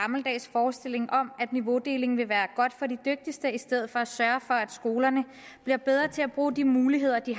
forestilling om at niveaudeling vil være godt for de dygtigste i stedet for at sørge for at skolerne bliver bedre til at bruge de muligheder de